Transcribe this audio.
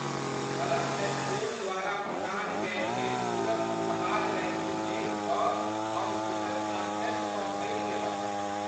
कलम स्टोर द्वारा प्रदान कयल गेल पूरक उपहार रैपिंग देखि कऽ हम सुखद आश्चर्यसँ भरि गेलहुँ।